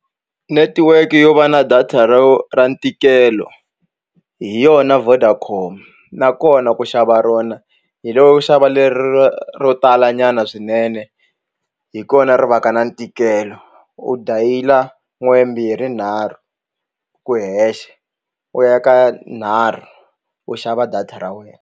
Netiweke yo va na data ro ra ntikelo hi yona Vodacom nakona ku xava rona hi loko u xava lero ro talanyana swinene ina hi kona ri va ka na ntikelo u dayila n'we mbirhi nharhu ku hexe u ya ka nharhu u xava data ra wena.